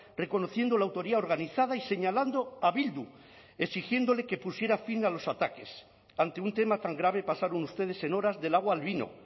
reconociendo la autoría organizada y señalando a bildu exigiéndole que pusiera fin a los ataques ante un tema tan grave pasaron ustedes en horas del agua al vino